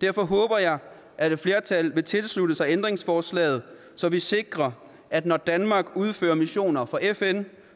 derfor håber jeg at et flertal vil tilslutte sig ændringsforslaget så vi sikrer at når danmark udfører missioner for fn